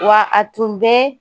Wa a tun tɛ